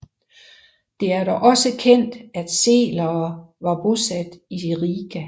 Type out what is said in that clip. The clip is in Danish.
Det er dog også kendt at selere var bosat i Riga